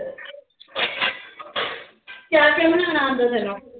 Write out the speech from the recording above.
ਕਿਆ ਕਿਆ ਬਣਾਉਣਾ ਆਉਂਦਾ ਤੈਨੂੰ।